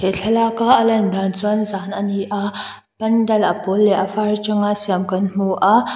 he thlalaka a lan dan chuan zan ani a pandal a pawl leh a var atanga siam kan hmu a--